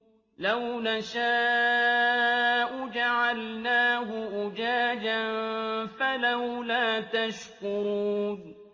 لَوْ نَشَاءُ جَعَلْنَاهُ أُجَاجًا فَلَوْلَا تَشْكُرُونَ